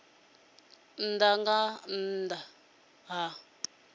a nnḓa nga nnḓa ha